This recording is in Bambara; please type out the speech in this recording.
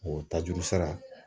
O ta juru sara